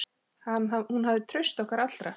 Hún hafði traust okkar allra.